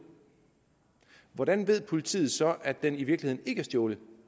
hvordan ved politiet så at den i virkeligheden ikke er stjålet